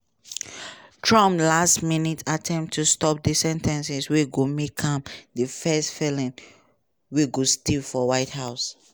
trump last-minute attempt to stop di sen ten cing wey go make am di first felon wey go stay for white house.